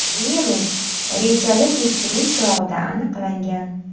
Virus rejali tekshiruv chog‘ida aniqlangan.